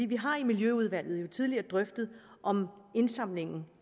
vi har i miljøudvalget tidligere drøftet om indsamlingen